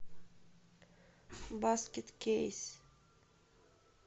баскет кейс